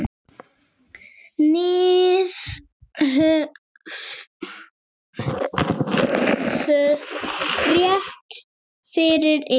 Þið höfðuð rétt fyrir ykkur.